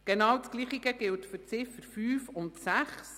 Genau dasselbe gilt für die Ziffern 5 und 6.